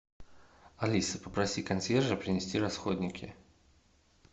алиса попроси консьержа принести расходники